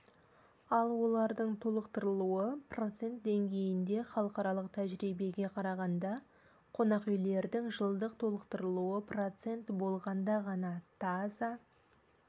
ал олардың толықтырылуы процент деңгейінде халықаралық тәжірибеге қарағанда қонақүйлердің жылдық толықтырылуы процент болғанда ғана таза